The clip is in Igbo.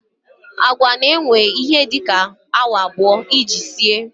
Agwa na-ewe ihe dị ka awa abụọ iji sie nri.